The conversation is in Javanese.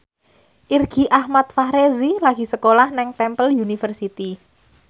Irgi Ahmad Fahrezi lagi sekolah nang Temple University